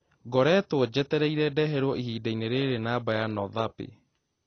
ngoretwo njetereire ndeherwo ihinda-inĩ rĩrĩ namba nothappy